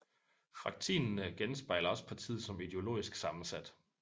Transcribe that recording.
Fraktinene genspejler også partiet som ideologisk sammensat